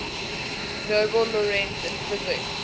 nobel laureates in physics